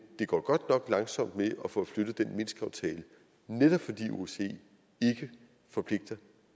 det går godt nok langsomt med at få flyttet den minskaftale netop fordi osce ikke forpligter